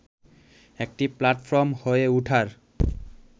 একটি প্লাটফর্ম হয়ে ওঠার